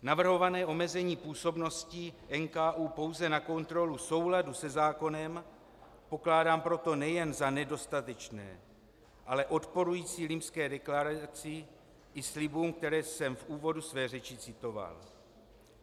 Navrhované omezení působnosti NKÚ pouze na kontrolu souladu se zákonem pokládám proto nejen za nedostatečné, ale odporující Limské deklaraci i slibům, které jsem v úvodu své řeči citoval.